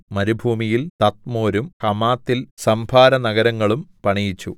മരുഭൂമിയിൽ തദ്മോരും ഹമാത്തിൽ സംഭാരനഗരങ്ങളും പണിയിച്ചു